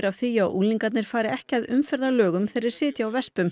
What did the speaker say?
því að unglingar fari ekki að umferðarlögum þegar þeir sitja á